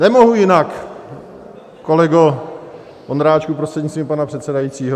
Nemohu jinak, kolego Ondráčku, prostřednictvím pana předsedajícího.